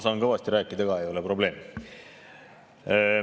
Ma saan kõvasti rääkida ka, ei ole probleem.